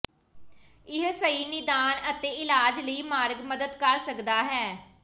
ਇਹ ਸਹੀ ਨਿਦਾਨ ਅਤੇ ਇਲਾਜ ਲਈ ਮਾਰਗ ਮਦਦ ਕਰ ਸਕਦਾ ਹੈ